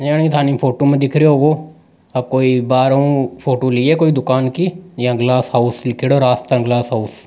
योनि थानी फोटो में दिख रहयो आ कोई बाहरो फोटो लिए है दुकान की यहाँ गिलास हाउस लिखेड़ो राजस्थान गिलास हाउस ।